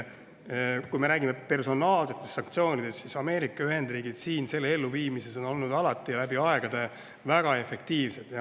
Kui me räägime personaalsetest sanktsioonidest, siis on Ameerika Ühendriigid nende elluviimises olnud alati väga efektiivsed.